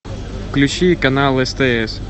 включи канал стс